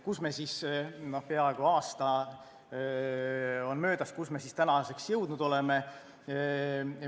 Kuhu me siis – no peaaegu aasta on möödas – tänaseks jõudnud oleme?